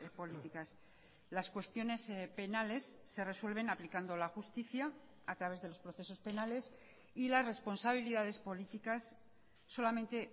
políticas las cuestiones penales se resuelven aplicando la justicia a través de los procesos penales y las responsabilidades políticas solamente